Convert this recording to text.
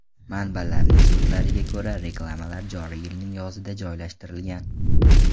Manbalarning so‘zlariga ko‘ra, reklamalar joriy yilning yozida joylashtirilgan.